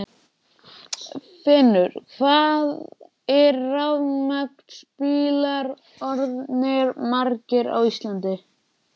Finnur: Hvað eru rafmagnsbílar orðnir margir á Íslandi í dag?